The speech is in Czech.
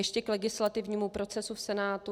Ještě k legislativnímu procesu v Senátu.